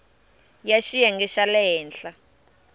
ya xiyenge xa le henhla